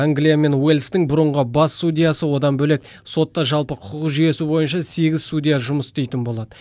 англия мен уэльстің бұрынғы бас судьясы одан бөлек сотта жалпы құқық жүйесі бойынша сегіз судья жұмыс істейтін болады